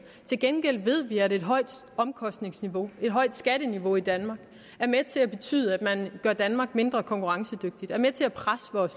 til gengæld ved vi at et højt omkostningsniveau et højt skatteniveau i danmark er med til at betyde at man gør danmark mindre konkurrencedygtigt og med til at presse